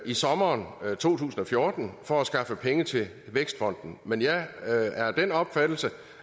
i sommeren to tusind og fjorten for at skaffe penge til vækstfonden men jeg er af den opfattelse